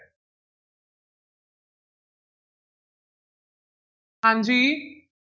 ਹਾਂਜੀ।